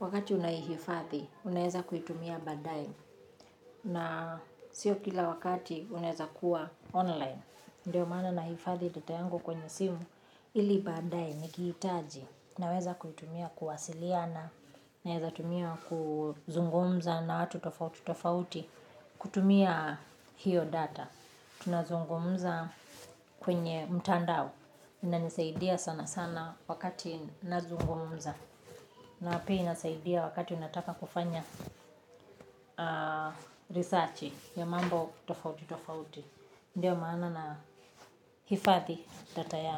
wakati unahifadhi unaeza kuitumia baadaye na sio kila wakati unaeza kuwa online. Ndiyo maana nahifadhi data yangu kwenye simu ili baadaye nikihitaji naweza kuitumia kuwasiliana naeza tumia kuzungumza na watu tofauti tofauti kutumia hiyo data. Tunazungumuza kwenye mtandao inanisaidia sana sana wakati nazungumuza na pia inasaidia wakati unataka kufanya researching ya mambo tofauti tofauti ndiyo maana nahifadhi data yangu.